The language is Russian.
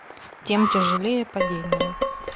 тем тяжелее падение